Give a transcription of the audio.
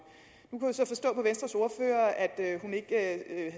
nu kunne jeg så forstå på venstres ordfører at